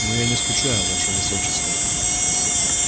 но я не скучаю ваше высочество